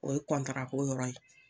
O ye ko yɔrɔ ye